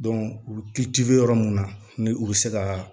u bɛ yɔrɔ mun na ni u bɛ se ka